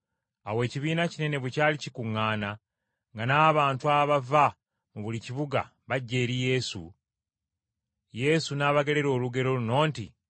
Awo ekibiina kinene bwe kyali kikuŋŋaana, nga n’abantu abava mu buli kibuga bajja eri Yesu, Yesu n’abagerera olugero luno nti,